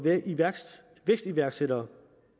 vækstiværksætterne